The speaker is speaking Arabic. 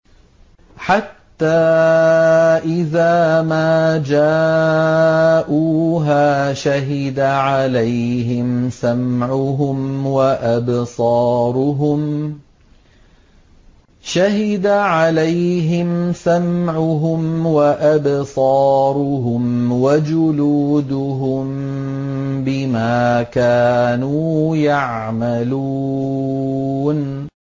حَتَّىٰ إِذَا مَا جَاءُوهَا شَهِدَ عَلَيْهِمْ سَمْعُهُمْ وَأَبْصَارُهُمْ وَجُلُودُهُم بِمَا كَانُوا يَعْمَلُونَ